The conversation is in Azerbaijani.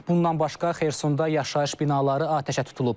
Bundan başqa Xersonda yaşayış binaları atəşə tutulub.